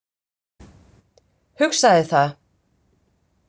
Hugsaði það.